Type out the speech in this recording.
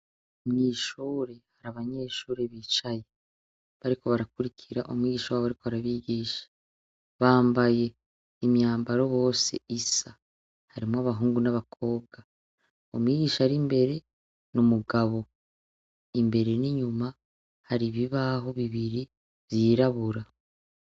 Mwishuri, hari abanyeshure bicaye bariko barakurikira umwigisha wabo ari ko arabigisha, bambaye imyambaro bose isa harimwo abahungu n'abakobwa, umwigisha ari imbere n’umugabo imbere n'inyuma hari ibibaho bibiri vyirabura.